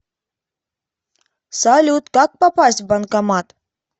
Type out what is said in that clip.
салют как попасть в банкомат